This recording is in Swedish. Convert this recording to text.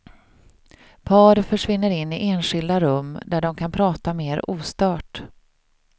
Par försvinner in i enskilda rum, där de kan prata mer ostört.